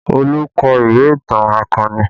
Olu kọ ìwé ìtàn akọni